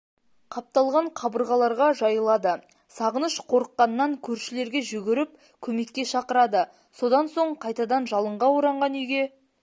қапталған қабырғаларға жайылады сағыныш қорыққаннан көршілерге жүгіріп көмекке шақырады содан соң қайтадан жалынға оранған үйге